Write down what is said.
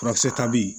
Furakisɛ ta bi